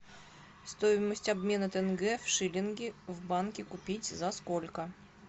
стоимость обмена тенге в шиллинги в банке купить за сколько